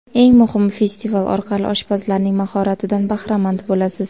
Eng muhimi, festival orqali oshpazlarning mahoratidan bahramand bo‘lasiz.